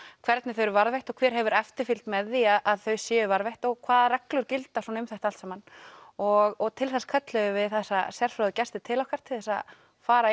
hvernig þau eru varðveitt og hver hefur eftirfylgd með því að þau séu varðveitt og hvaða reglur gilda svona um þetta allt saman og til þess kölluðum við þessa sérfróðu gesti til okkar til þess að fara